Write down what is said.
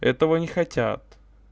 этого они хотят